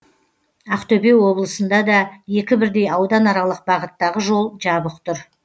ақтөбе облысында да екі бірдей ауданаралық бағыттағы жол жабық тұр